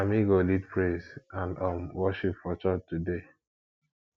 na me go lead praise and um worship for church today